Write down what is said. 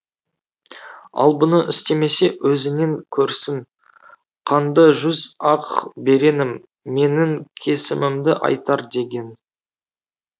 ал бұны істемесе өзінен көрсін қанды жүз ақ беренім менің кесімімді айтар деген